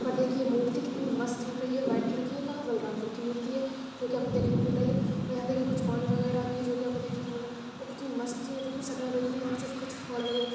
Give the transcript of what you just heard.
ऊपर देखिये मूर्ति कितनी मस्त लग रही है वाइट कलर की कहाँ बलरामपुर की मूर्ति है जोकि आपको देखने को मिल रही है ये और यहाँ देखिये कुछ पानी वगैरह भी है जोकि आपको देखने को मिल रहा है और कितनी मस्त चीज़ है शटर गयी है यहाँ से --